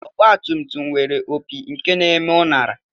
Ọgbatumtum nwere opi nke na-eme uṅara